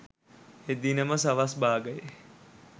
එදින ම සවස් භාගයේ